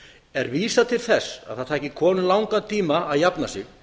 er vísað til þess að það taki konu langan tíma að jafna sig